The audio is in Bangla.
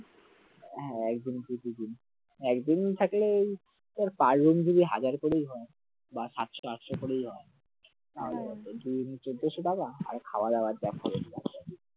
হ্যাঁ একদিন কি দুইদিন, একদিন থাকলে ওই ধর পাঁচজন যদি হাজার করেই হয় বা সাতশো আটশো করেই হয় তাহলে দুইজনে চৌদ্দশো টাকা আর খাওয়া-দাওয়ায় যা খরচ আসে